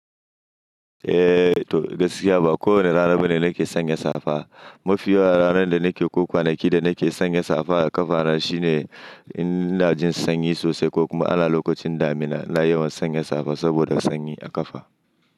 Eh to gaskiya ba kowane rana ba ne nake sanya safa. Mafiyawa ranar da nake ko kwana ki da nake sanya safa a ƙafa na shine in ina jin sanyi sosai ko kuma ana lokacin damina ina yawan sanya safa saboda sanyi a ƙafa.